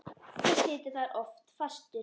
Og situr þar oft fastur.